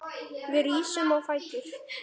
Við rísum á fætur.